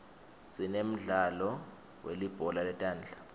sinemdlalo welibhola letandla